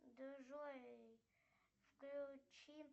джой включи